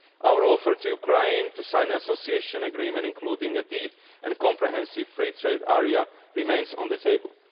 choice. Our offer to Ukraine to sign the Association Agreement, including a Deep and Comprehensive Free Trade Area, remains on the